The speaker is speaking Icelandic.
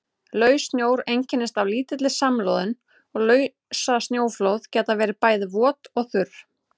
Laus snjór einkennist af lítilli samloðun og lausasnjóflóð geta verið bæði vot og þurr.